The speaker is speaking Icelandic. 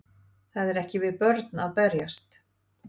Það er ekki við börn að berjast